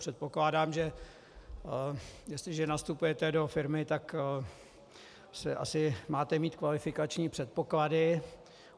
Předpokládám, že jestliže nastupujete do firmy, tak asi máte mít kvalifikační předpoklady.